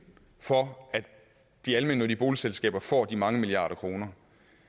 for at de almennyttige boligselskaber får de mange milliarder kroner